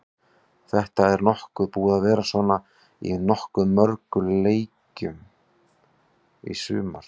Þetta er búið að vera svona í nokkuð mörgum leikjum í sumar.